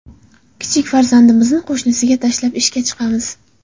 Kichik farzandimizni qo‘shniga tashlab, ishga chiqamiz”.